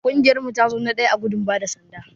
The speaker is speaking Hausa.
Kungiyar mu ta zo na daya ã gudun bada sanda.